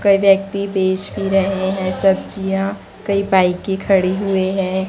कई व्यक्ति बेच भी रहे हैं सब्जियां कई बाइके खड़ी हुई हैं।